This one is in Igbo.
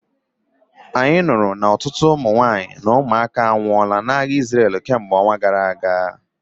Anyị nụrụ na ọtụtụ ụmụ nwanyị na ụmụaka anwụọla n'agha Isreal kemgbe ọnwa gara aga